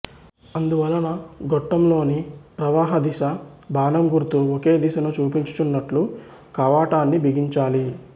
అందువలన గొట్టం లోని ప్రవాహ దిశ బాణంగుర్తు ఒకే దిశను చూపించునట్లు కవాటాన్ని బిగించాలి